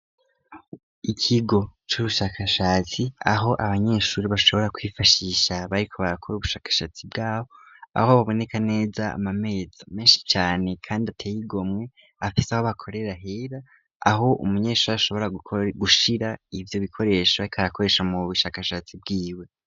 Ikigo c'ubushakashatsi aho abanyeshuri bashobora kwifashisha bariko bakora ubushakashatsi bwabo aho baboneka neza amameza menshi cane, kandi ateyigomwe afase aho bakorera hera aho umunyeshuri ashobora gushira ivyo bikoresha bakarakoresha mu bushakashatsi bwiwe.